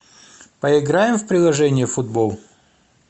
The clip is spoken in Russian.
поиграем в приложение футбол